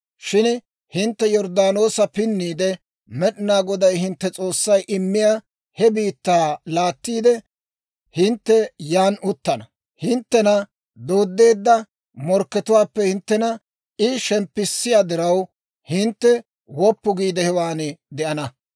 Shin hintte Yorddaanoosa pinniide, Med'inaa Goday hintte S'oossay immiyaa he biittaa laattiide, hintte yan uttana. Hinttena dooddeedda morkkatuwaappe hinttena I shemppissiyaa diraw, hintte woppu giide hewan de'ana.